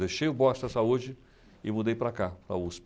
Deixei o boxa da saúde e mudei para cá, para a USP.